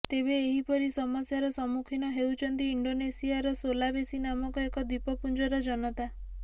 ତେବେ ଏହିପରି ସମସ୍ୟାର ସମ୍ମୁଖୀନ ହେଉଛନ୍ତି ଇଣ୍ଡୋନେସିଆର ସୋଲାବେସୀ ନାମକ ଏକ ଦ୍ୱୀପପୁଞ୍ଜର ଜନତା